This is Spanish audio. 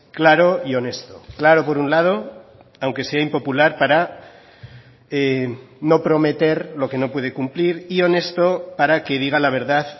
claro y honesto claro por un lado aunque sea impopular para no prometer lo que no puede cumplir y honesto para que diga la verdad